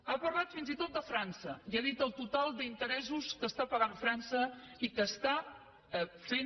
ha parlat fins i tot de frança i ha dit el total d’interessos que està pagant frança i que està fent